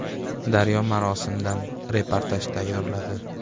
“Daryo” marosimdan fotoreportaj tayyorladi.